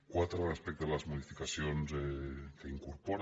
quatre respecte a les modificacions que incorpora